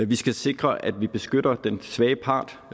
vi skal sikre at vi beskytter den svage part